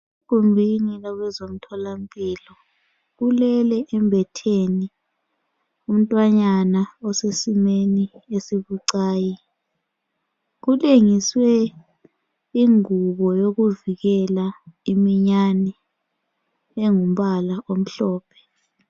Egumbini labezemtholampilo ulele embetheni umntwanyana osesimeni esibucayi. Kulengiswe ingubo yokuvikela iminyane engumbala omhlophe.